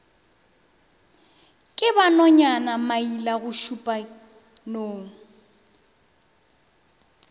ke ba nonyana mailagošupša nong